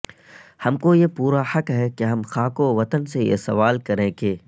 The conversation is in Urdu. ہم کو یہ پورا حق ہے کہ ہم خاک وطن سے یہ سوال کریں کہ